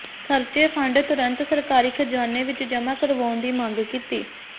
ਖਰਚੇ ਫੰਡ ਤੁਰੰਤ ਸਰਕਾਰੀ ਖ਼ਜ਼ਾਨੇ ਵਿਚ ਜਮਾਂ ਕਰਵਾਉਣ ਦੀ ਮੰਗ ਕੀਤੀ